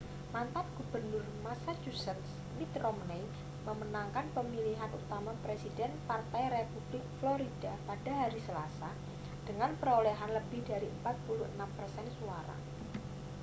mantan gubernur massachusetts mitt romney memenangkan pemilihan utama presiden partai republik florida pada hari selasa dengan perolehan lebih dari 46 persen suara